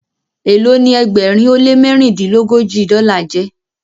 Elo ní ẹgbẹrin o le mẹrindilogoji dola jé?